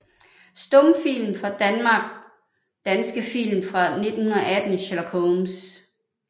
Stumfilm fra Danmark Danske film fra 1918 Sherlock Holmes